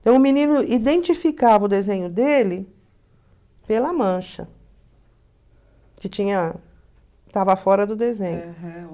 Então, o menino identificava o desenho dele pela mancha, que tinha que estava fora do desenho.